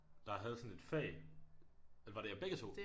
Der havde sådan et fag eller var det jer begge 2